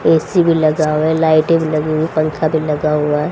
AC भी लगा हुआ लाइटिंग लगी हुई पंखा भी लगा हुआ है।